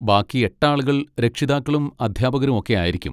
ബാക്കി എട്ട് ആളുകൾ രക്ഷിതാക്കളും അധ്യാപകരും ഒക്കെ ആയിരിക്കും.